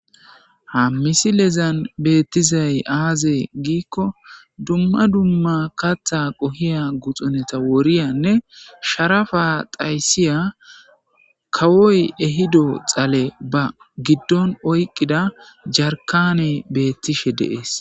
ha misilezan beettizay aaze giikko dumma dumma katha qohiya guxuneta woriyanne sharafa thaysiya kawoy ehido xale ba giddon oyqqida jarkane beettishe deees